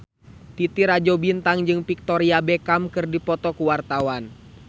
Titi Rajo Bintang jeung Victoria Beckham keur dipoto ku wartawan